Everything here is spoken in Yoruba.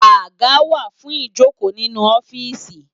Àgá wá fún ijókó ninú òfìsí